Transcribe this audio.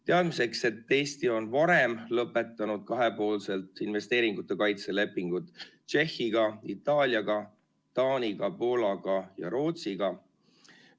Teadmiseks, et Eesti on varem lõpetanud kahepoolselt investeeringute kaitse lepingud Tšehhiga, Itaaliaga, Taaniga, Poolaga ja Rootsiga.